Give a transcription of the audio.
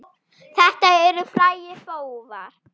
Þetta eru frægir bófar.